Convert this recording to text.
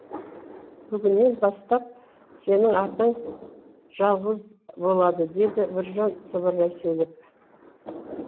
бүгіннен бастап сенің атың жалғыз болады деді біржан сыбырлай сөйлеп